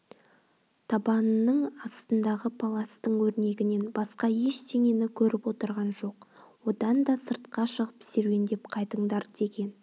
табанының астындағы паластың өрнегінен басқа ештеңені көріп отырған жоқ одан да сыртқа шығып серуендеп қайтыңдар деген